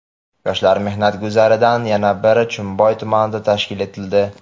Yoshlar mehnat guzarlaridan yana biri Chimboy tumanida tashkil etildi.